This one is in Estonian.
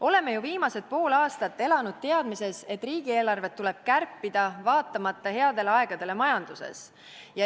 Oleme ju viimased pool aastat elanud teadmises, et riigieelarvet tuleb kärpida, vaatamata headele aegadele majanduses.